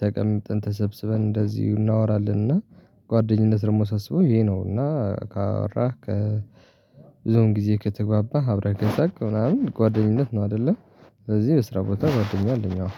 ተቀምጠን ተሰብስበን እንደዚሁ እናወራለን እና ጓደኝነት ደግሞ ሳስበው ይሄ ነው። እና ካወራህ ከ ብዙን ጊዜ ከተግባባህ አብረህ ከሳቅ ምናምን ጓደኝነት ነው አይደለ? ስለዚህ በስራ ቦታ ጓደኛ አለኝ አዎ